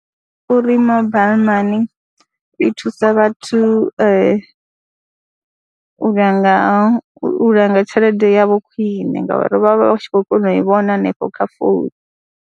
Uri mobile money i thusa vhathu u langa, u langa tshelede yavho khwine ngauri vha vha tshi khou kona u i vhona hanefho kha founu.